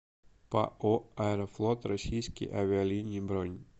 пао аэрофлот российские авиалинии бронь